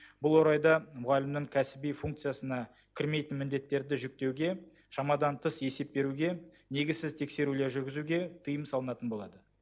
бұл орайда мұғалімнің кәсіби функциясына кірмейтін міндеттерді жүктеуге шамадан тыс есеп беруге негізсіз тексерулер жүргізуге тыйым салынатын болады